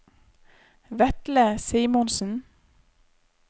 Vetle Simonsen